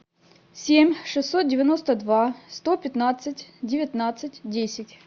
семь шестьсот девяносто два сто пятнадцать девятнадцать десять